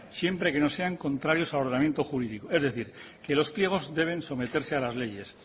siempre que no sean contrarios al ordenamiento jurídico es decir que los pliegos deben someterse a las leyes